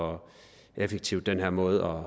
og effektiv den her måde